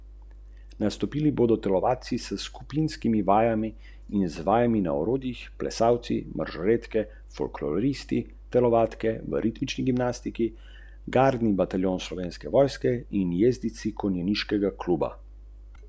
Kdo ima prav?